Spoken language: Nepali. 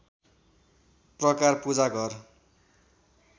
प्रकार पूजा घर